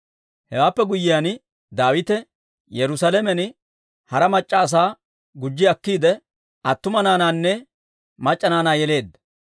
Hewaappe guyyiyaan, Daawite Yerusaalamen hara mac'c'a asaa gujji akkiide, attumawaa naanaanne mac'c'a naanaa yeleedda.